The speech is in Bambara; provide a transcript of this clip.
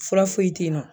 Fura foyi tɛ yen nɔ